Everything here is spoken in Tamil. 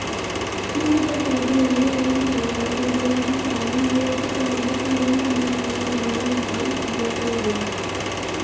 திமுக சார்பில் இளைஞரணி செயலாளர் உதயநிதி ஸ்டாலின் ஈரோட்டுக்கு வந்து தீரன் சின்னமலையின் நினைவு நாளில் பங்கேற்க உள்ளார்